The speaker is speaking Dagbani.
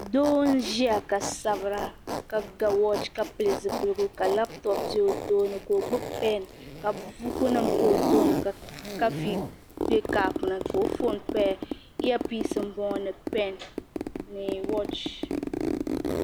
Doo n ƶiya ka sabira ka ga wach ka pɛlli ƶipɛlligu ka laptop bɛ o tooni ka o gbibi pen ka buku nim pa O tooni ka kafi bɛ cup ni ka o phone paya ear-pins n boŋɔ ni pen ni wach.